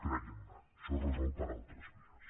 creguin me això es resol per altres vies